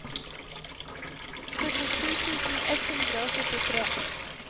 førtisju tusen ett hundre og førtitre